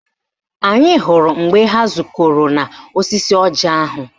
Anyị hụrụ mgbe ha zukọrọ n'osisi ọjị ahụ